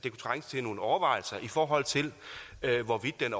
til nogle overvejelser i forhold til hvorvidt den